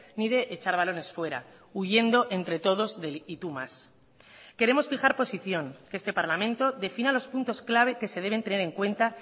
ni de echar balones fuera huyendo entre todos del y tú más queremos fijar posición que este parlamento defina los puntos clave que se deben tener en cuenta